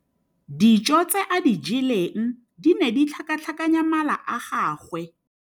Dijô tse a di jeleng di ne di tlhakatlhakanya mala a gagwe.